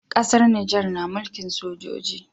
Ƙasar nijar na mulkin sojoji